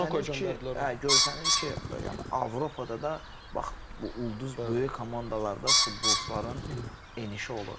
Görsənir ki, görsənir ki, yəni Avropada da bax bu ulduz böyük komandalarda futbolçuların enişi olur.